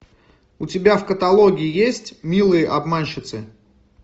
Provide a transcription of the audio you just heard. у тебя в каталоге есть милые обманщицы